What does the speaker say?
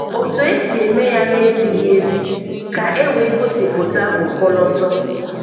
Otu esi eme ya na-ezighi ezi ka e wee gosipụta ọkọlọtọ.